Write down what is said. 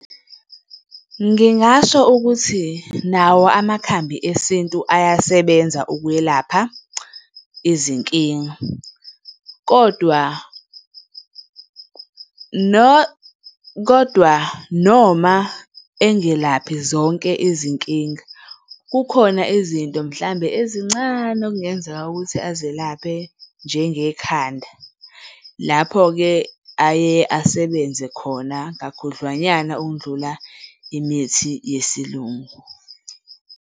Ngingasho ukuthi nawo amakhambi esintu ayasebenza ukwelapha izinkinga, kodwa kodwa noma engelaphi zonke izinkinga, kukhona izinto mhlambe ezincane okungenzeka ukuthi azelaphe njengekhanda, lapho-ke aye asebenze khona kakhudlwanyana ukundlula imithi yesilungu.